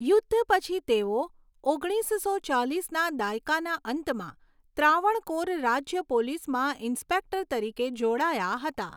યુદ્ધ પછી તેઓ ઓગણીસસો ચાલીસના દાયકાના અંતમાં ત્રાવણકોર રાજ્ય પોલીસમાં ઇન્સ્પેક્ટર તરીકે જોડાયા હતા.